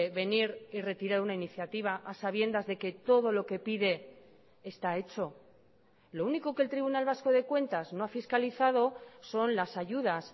venir y retirar una iniciativa a sabiendas de que todo lo que pide está hecho lo único que el tribunal vasco de cuentas no ha fiscalizado son las ayudas